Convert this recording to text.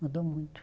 Mudou muito.